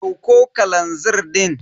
Dauko kalazir din.